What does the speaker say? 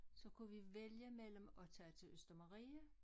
så kunne vi vælge mellem at tage til Østermarie